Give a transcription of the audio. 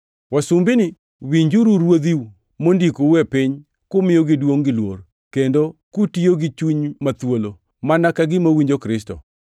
Wasumbini, winjuru ruodhiu mondikou e piny-ka kumiyogi duongʼ gi luor, kendo kutiyo gi chuny ma thuolo, mana ka gima uwinjo Kristo.